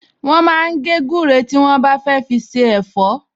Wọ́n máa ń gé gúre tí wọ́n bá fẹ́ fi se ẹ̀fọ́